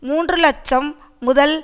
மூன்று இலட்சம் முதல்